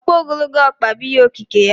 Ọkpa ogologo ọkpa bụ ihe okike ya.